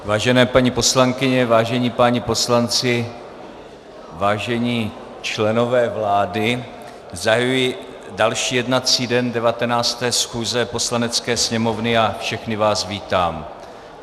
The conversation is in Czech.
Vážené paní poslankyně, vážení páni poslanci, vážení členové vlády, zahajuji další jednací den 19. schůze Poslanecké sněmovny a všechny vás vítám.